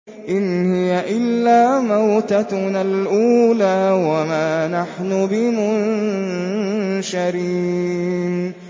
إِنْ هِيَ إِلَّا مَوْتَتُنَا الْأُولَىٰ وَمَا نَحْنُ بِمُنشَرِينَ